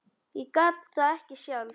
Ég gat það ekki sjálf.